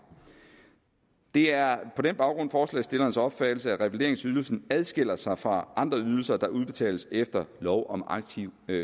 det er på den baggrund forslagsstillernes opfattelse at revalideringsydelsen adskiller sig fra andre ydelser der udbetales efter lov om aktiv